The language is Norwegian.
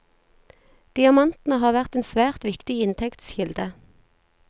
Diamantene har vært en svært viktig inntektskilde.